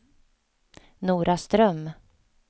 Noraström